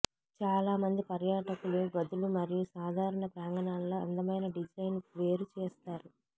చాలా మంది పర్యాటకులు గదులు మరియు సాధారణ ప్రాంగణాల్లో అందమైన డిజైన్ను వేరు చేస్తారు